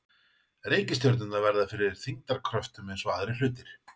Reikistjörnurnar verða fyrir þyngdarkröftum eins og allir aðrir hlutir.